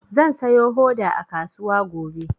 Zan sayo hoda a kasuwa gobe.